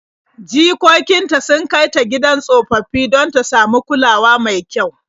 Jikokin ta sun kai ta gidan tsofaffi don ta samu kulawa mai kyau.